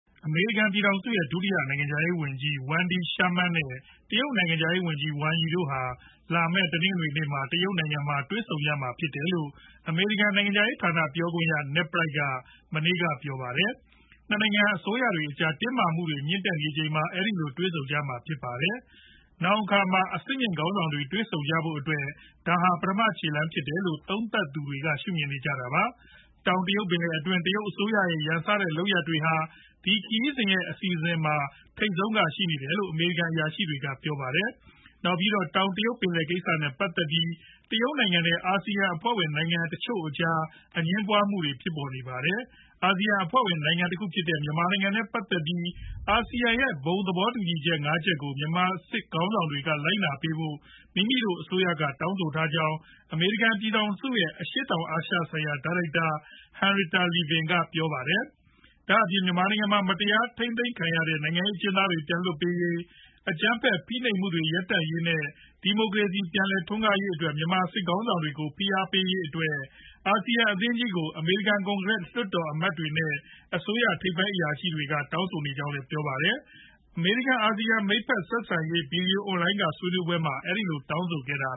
အမေရိကန် ပြည်ထောင်စု ရဲ့ ဒုတိယနိုင်ငံခြားရေးဝန်ကြီး Wendy Sherman နဲ့ တရုတ်နိုင်ငံခြားရေးဝန်ကြီး Wang Yi တို့ဟာ လာမယ် တနင်္ဂနွေနေ့မှာ တရုတ်နိုင်ငံမှာ တွေ့ဆုံကြမှာဖြစ်တယ်လို့ အမေရိကန်နိုင်ငံခြားရေးဌာန ပြောခွင့်ရ Ned Price က မနေ့က ပြောပါတယ်။ ၂ နိုင်ငံအစိုးတွေအကြား တင်းမာမှုတွေမြင့်လာနေချိန်မှာ အဲဒီလိုတွေ့ဆုံကြမှာဖြစ်ပါတယ်။ နောင်အခါမှာ အဆင့်မြင့်ခေါင်းဆောင်တွေ တွေ့ဆုံကြဖို့အတွက် ဒါဟာ ပထမချေလှမ်းဖြစ်တယ်လို့ သုံးသပ်သူတွေက ရှုမြင်နေကြတာပါ။ တောင်တရုတ်ပင်လယ်တွင်း တရုတ်အစိုရရဲ့ ရန်စတဲ့ လုပ်ရပ်တွေဟာ ဒီခရီးစဉ်ရဲ့ အစီအစဉ်ထဲမှာ ထိပ်ဆုံးကရှိနေတယ်လို့ အမေရိကန်အရာရှိတွေက ပြောပါတယ်။ နောက်ပြီးတော့ တောင်တရုတ်ပင်လယ်ကိစ္စနဲ့ ပတ်သက်ပြီး တရုတ်နိုင်ငံနဲ့ အာဆီယံအဖွဲ့ဝင်နိုင်ငံတချို့အကြားအငြင်းပွားနေကြတာပါ။ အာဆီယံအဖွဲ့ဝင် နိုင်ငံတခုဖြစ်တဲ့ မြန်မာနိုင်ငံနဲ့ပတ်သက်ပြီး အာဆီယံရဲ့ဘုံသဘောတူညီချက်ငါးချက်ကို မြန်မာစစ်ခေါင်းဆောင်တွေက လိုက်နာပေးဖို့ မိမိတို့အစိုးရက တောင်းဆိုထားကြောင်း အမေရိကန် ပြည်ထောင်စုရဲ့ အရှေ့တောင်အာရှဆိုင်ရာ ဒါရိုက်တာ Henrietta Levin က ပြောပါတယ်။ ဒါအပြင် မြန်မာနိုင်ငံမှာ မတရားထိန်းသိမ်းခံနေရတဲ့ နိုင်ငံရေးအကျဉ်းသားတွေ ပြန်လွှတ်ပေးရေး၊ အကြမ်းဖက် ဖိနိုပ်မှုတွေရပ်တန့်ရေး နဲ့ ဒီမိုကရေစီ ပြန်လည်ထွန်းကားရေးတို့အတွက် မြန်မာစစ်ခေါင်းဆောင်တွေကို ဖိအားပေးရေးတို့အတွက် အာဆီယံအသင်းကြီးကို အမေရိကန် ကွန်ကရက်လွှတ်တော်အမတ်တွေ နဲ့ အစိုးရထိပ်ပိုင်းအရာရှိတွေက တောင်းဆိုနေကြောင်းပြောပါတယ်။ အမေရိကန် အာဆီယံ မိတ်ဖက်ဆက်ဆံရေး ဗွီဒီယိုအွန်လိုင်း ကဆွေးနွေးပွဲမှာ အဲဒီလိုတောင်းဆိုခဲ့တာ